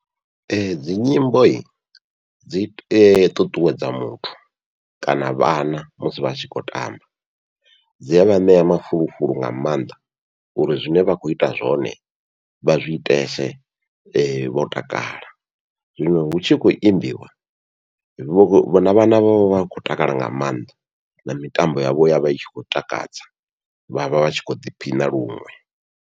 Ee dzi nyimbo dzi ṱuṱuwedza muthu kana vhana musi vhatshi khou tamba, dzia vha ṋea mafulufulu nga mannḓa uri zwine vha khou ita zwone vha zwi itese, vho takala. Zwino hu tshi khou imbiwa vho vhona vhana vho vha khou takala nga maanḓa, na mitambo yavho yavha i tshi khou takadza vhavha vhatshi kho ḓiphina luṅwe.